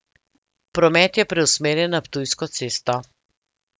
Promet je preusmerjen na Ptujsko cesto.